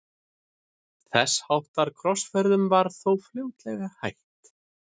þess háttar krossferðum var þó fljótlega hætt